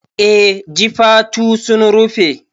Eh jifatu sun rufe